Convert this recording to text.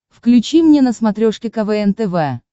включи мне на смотрешке квн тв